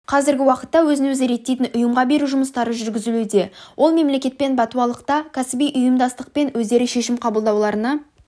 қазіргі уақытта өзін-өзі реттейтін ұйымға беру жұмыстары жүргізілуде ол мемлекетпен бәтуалықта кәсіби қауымдастықпен өздері шешім қабылдауларына